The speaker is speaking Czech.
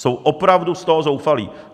Jsou opravdu z toho zoufalí.